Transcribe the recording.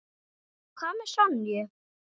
Hvað með Sonju?